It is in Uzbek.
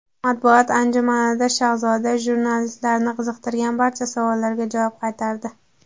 Matbuot anjumanida Shahzoda jurnalistlarni qiziqtirgan barcha savollarga javob qaytardi.